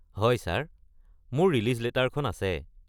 হয় ছাৰ। মোৰ ৰিলিজ লেটাৰখন আছে।